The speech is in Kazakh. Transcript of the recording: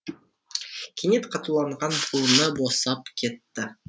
кенет қатуланған буыны босап кетті